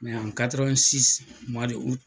an